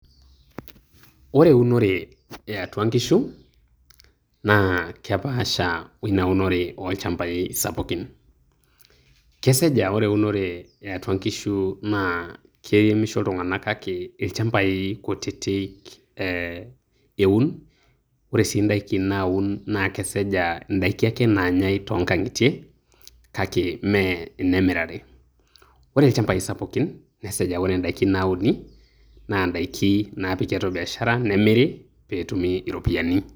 Ore eunore eatua nkishu, naa kepaasha oina unore eatua ilchambai sapukin. Kesaj ah ore eunore eatua nkishu, na kiremisho iltung'anak kake ilchambai kutitik eun. Ore si daiki naun na kesej aa daiki ake naanyae tonkang'itie, kake me enemirare. Ore ilchambai sapukin, nesej a ore idaiki nauni, na daiki napiki atua biashara, nemiri petumi iropiyiani.